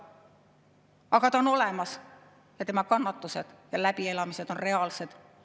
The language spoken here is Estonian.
Aga ta on olemas ja tema kannatused ja läbielamised on reaalsed.